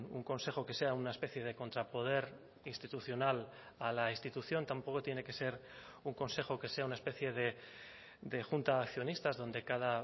un consejo que sea una especie de contrapoder institucional a la institución tampoco tiene que ser un consejo que sea una especie de junta de accionistas donde cada